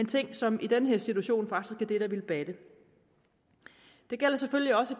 ting som i den her situation faktisk vil batte det gælder selvfølgelig også